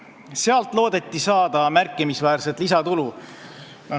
Sealt loodeti saada märkimisväärset lisatulu.